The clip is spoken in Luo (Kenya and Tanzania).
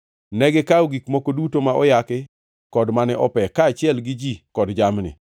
Negikawo gik moko duto ma oyaki kod mane ope, kaachiel gi ji kod jamni,